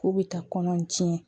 K'u bɛ taa kɔnɔ tiɲɛ